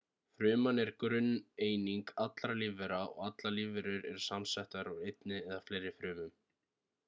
fruman er grunneining allra lífvera og allar lífverur eru samsettar úr einni eða fleiri frumum